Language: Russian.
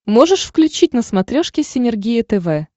можешь включить на смотрешке синергия тв